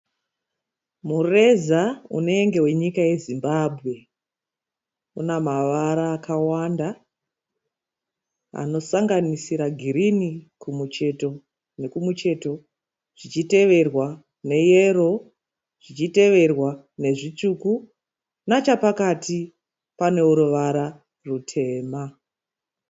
Mureza unenge wenyika yeZimbabwe. Une mavara akawanda anosanganisira girinhi kumucheto nekumucheto zvichiteverwa neyero, zvichiteverwa nazvitsvuku. Nechepakati pane ruvara rutema.